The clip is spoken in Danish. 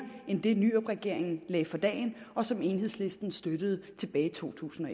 end det nyrupregeringen lagde for dagen og som enhedslisten støttede tilbage i totusinde